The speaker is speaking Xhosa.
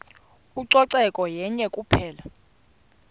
ucoceko yenye kuphela